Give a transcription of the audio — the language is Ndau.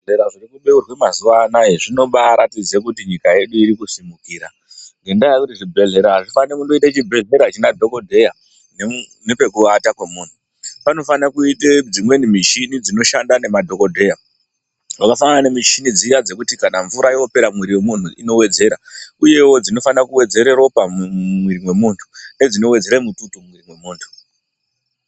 Zvibhedhlera zviri kubeurwa mazuwa anaya zvinoratidza kuti nyika yedu irikusimukira. Ngendaa yekuti chibhedhlera achifaniri kungoita chibhedhleya chisina dhokodheya nepekuata kwemunhu . Panofanirwa kuite dzimweni michini dzinoshanda nemadhokodheya, dzakafanana nedzimwe michini dziya dzokuti kana mvura yopera mumwiri mwemuntu inowedzera uyewo dzinofana kuwedzera ropa mumwiri mwemuntu nedzinowedzera mututu mumwiri mwemuntu.